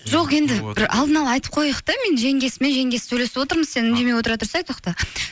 жоқ енді бір алдына ала айтып қояйық та мен жеңгесімен жеңгесі сөйлесіп отырмыз сен үндемей отыра тұрсай тоқта